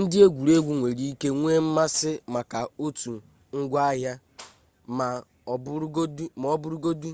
ndị egwuregwu nwere ike nwee mmasị maka otu ngwaahịa ma ọ bụrụgodi